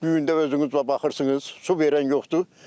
Bu gün də özünüz baxırsınız, su verən yoxdur.